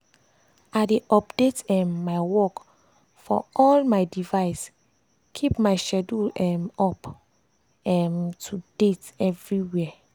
i dey update um my work for all my device keep my schedule um up um to date everywhere.